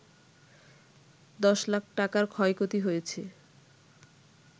১০ লাখ টাকার ক্ষয়ক্ষতি হয়েছে